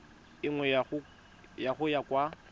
e nngwe go ya kwa